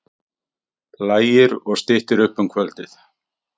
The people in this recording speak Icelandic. Lægir og styttir upp um kvöldið